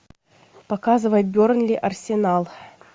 показывай бернли арсенал